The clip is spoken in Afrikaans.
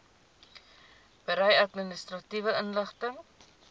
berei administratiewe inligting